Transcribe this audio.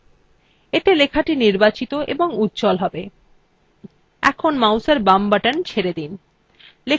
এতে লেখাটি নির্বাচিত এবং উজ্জ্বল হবে এখন mouseএর বাম button ছেড়ে দিন